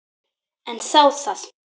En þá það.